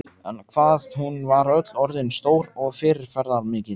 En hvað hún var öll orðin stór og fyrirferðarmikil.